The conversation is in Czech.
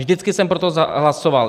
Vždycky jsem pro to hlasoval.